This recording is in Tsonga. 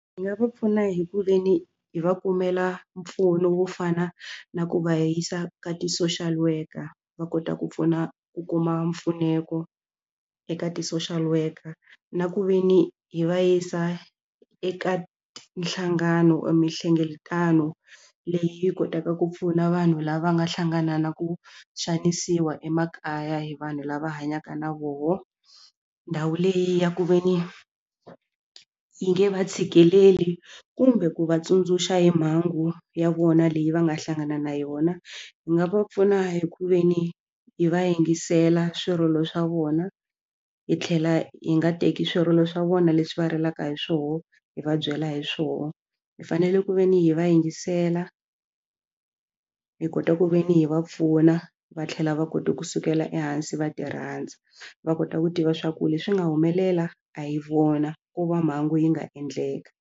Hi nga va pfuna hi ku ve ni hi va kumela mpfuno wo fana na ku va yisa ka ti-social worker va kota ku pfuna ku kuma mpfuneko eka ti-social worker na ku ve ni hi va yisa eka nhlangano mihlengeletano leyi kotaka ku pfuna vanhu lava nga hlangana na ku xanisiwa emakaya hi vanhu lava hanyaka na voho ndhawu leyi ya ku ve ni yi nge va tshikeleli kumbe ku vatsundzuxa hi mhangu ya vona leyi va nga hlangana na yona hi nga va pfuna hi ku ve ni hi va yingisela swirilo swa vona hi tlhela hi nga teki swirilo swa vona leswi va rilaka hi swona hi va byela hi swona hi fanele ku ve ni hi va yingisela hi kota ku ve ni hi va pfuna va tlhela va kote kusukela ehansi va ti rhandza va kota ku tiva swa ku leswi nga humelela a hi vona ko va mhangu yi nga endleka.